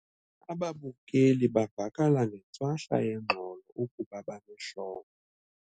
Ababukeli bavakala ngentswahla yengxolo ukuba banehlombe.